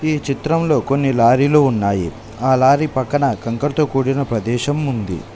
ఈ చిత్రంలో కొన్ని లారీలు ఉన్నాయి ఆ లారీ పక్కన కంకరతో కూడిన ప్రదేశం ఉంది.